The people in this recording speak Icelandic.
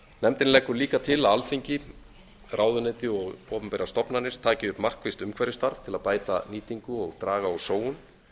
nefndin leggur líka til að alþingi ráðuneyti og opinberar stofnanir taki upp markvisst umhverfisstarf til að bæta nýtingu og draga úr sóun